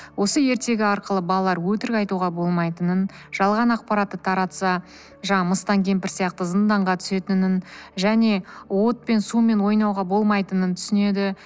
осы ертегі арқылы балалар өтірік айтуға болмайтынын жалған ақпаратты таратса жаңағы мыстан кемпір сияқты зынданға түсетінін және отпен сумен ойнауға болмайтынын түсінеді